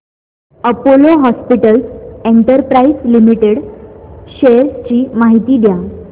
Apollo hospitals enterprises limited shares ची माहिती द्या